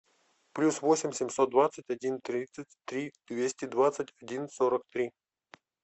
плюс восемь семьсот двадцать один тридцать три двести двадцать один сорок три